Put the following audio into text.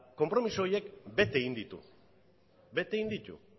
konpromiso horiek bete egin ditu bete egin ditu